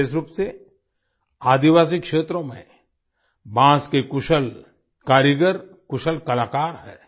विशेष रूप से आदिवासी क्षेत्रों में बांस के कुशल कारीगर कुशल कलाकार हैं